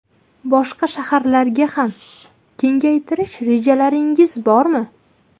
Boshqa shaharlarga ham kengaytirish rejalaringiz bormi?